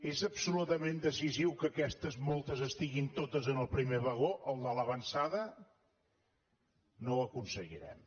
és absolutament decisiu que aquestes moltes estiguin totes en el primer vagó el de l’avançada no ho aconseguirem